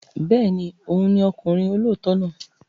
Bẹ́ẹ̀ ni, òun ni ọkùnrin olóòótọ́ náà.